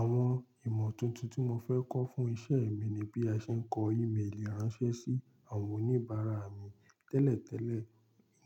Àwọn ìmọ̀ tuntun tí mo fẹ́ kọ́ fún iṣẹ́ mi ni bí a ṣe ń kọ emailì ránṣẹ́ sí àwọn oníbàárà mi. Tẹ́lẹ̀tẹ́lẹ̀,